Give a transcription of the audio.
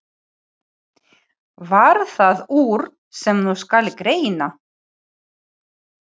Varð það úr, sem nú skal greina.